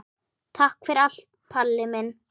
Takk fyrir allt, Palli minn.